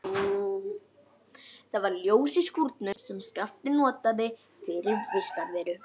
Það var ljós í skúrnum sem Skapti notaði fyrir vistarveru.